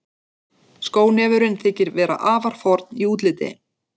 Skónefurinn þykir vera afar forn í útliti.